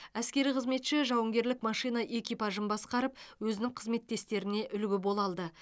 әскери қызметші жауынгерлік машина экипажын басқарып өзінің қызметтестеріне үлгі бола алды